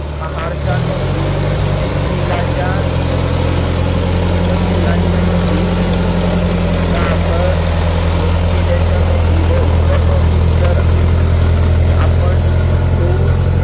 आहार चा नोंदी, पिलाच्या नोंदी, गाभार केल्याच्या नोंदी व इतर नोंदी जर अं आपण ठेवू